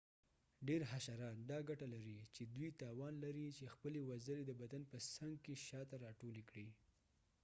ډیر حشرات دا ګټه لري چې دوی توان لري چې خپلې وزرې د بدن په څنګ کې شاته راټولې کړي